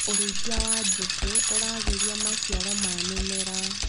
ũrĩithia wa njukĩ ũragĩria maciaro ma mĩmera.